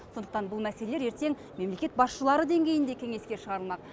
сондықтан бұл мәселелер ертең мемлекет басшылары деңгейінде кеңеске шығарылмақ